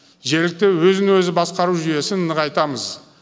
жергілікті өзін өзі басқару жүйесін нығайтамыз